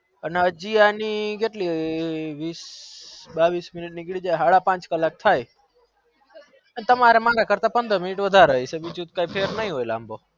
ન હજી અણી કેટલી સારા પાંચ થાય કલક થાય તમારે મન કરતા પંદર minute વધારે થાય